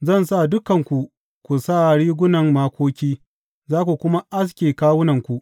Zan sa dukanku ku sa rigunan makoki za ku kuma aske kawunanku.